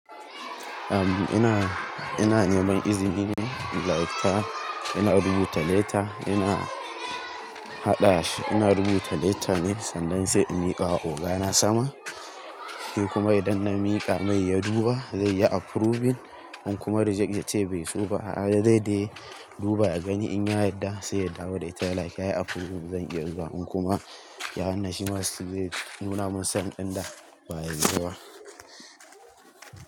Ehm, ina, ina neman izini ne. Like ta, ina rubuta letter, ina haɗa shi, ina rubuta letter ne sanda sai in miƙa wa oga na sama. Shi kuma idan na miƙa mai ya duba zai yi approving in kuma reject ya ce bai so ba. A'a, da zai dai duba ya gani in ya yarda sai ya dawo da ita. Like ya yi approving zan iya zuwa in kuma ya hana shi ma steel zai nuna min sanin ɗin da ba'a yadda ba.